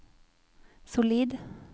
solid